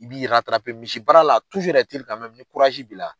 I b'i misi baara la ni b'i la.